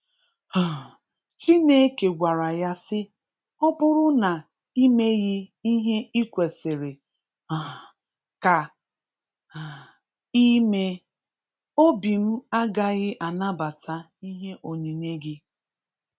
um Chineke gwara ya sị, Ọ bụrụ na imeghi ihē kwesiri um ka um ímeē, obim agaghị anabata ihē onyinyé gị.